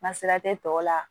Masira tɛ tɔw la